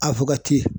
A